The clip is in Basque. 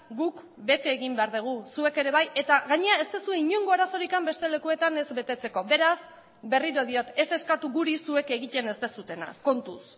guk bete egin behar dugu zuek ere bai eta gainera ez duzue inongo arazorik beste lekuetan ez betetzeko beraz berriro diot ez eskatu guri zuek egiten ez duzuena kontuz